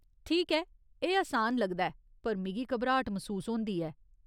ठीक ऐ, एह् असान लगदा ऐ पर मिगी घबराट मसूस होंदी ऐ।